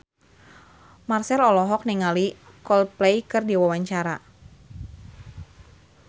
Marchell olohok ningali Coldplay keur diwawancara